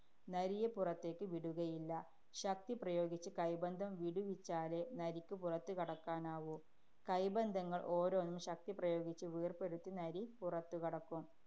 നരിയെ പുറത്തേക്ക് വിടുകയില്ല. ശക്തി പ്രയോഗിച്ച് കൈബന്ധം വിടുവിച്ചാലേ നരിക്ക് പുറത്തു കടക്കാനാവൂ. കൈബന്ധങ്ങള്‍ ഓരോന്നും ശക്തിപ്രയോഗിച്ച് വേര്‍പെടുത്തി നരി പുറത്തുകടക്കും.